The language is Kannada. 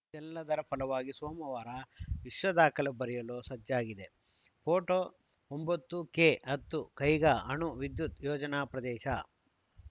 ಇದೆಲ್ಲದರ ಫಲವಾಗಿ ಸೋಮವಾರ ವಿಶ್ವ ದಾಖಲೆ ಬರೆಯಲು ಸಜ್ಜಾಗಿದೆ ಫೋಟೋ ಒಂಬತ್ತು ಕೆ ಹತ್ತು ಕೈಗಾ ಅಣು ವಿದ್ಯುತ್‌ ಯೋಜನಾ ಪ್ರದೇಶ